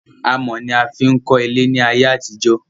Amò ni a fi n kọ́ ilé ní ayé àtijó